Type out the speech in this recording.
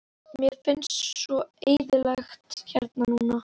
Varðmaður leit upp og í átt til hans.